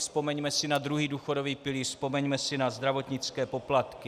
Vzpomeňme si na druhý důchodový pilíř, vzpomeňme si na zdravotnické poplatky.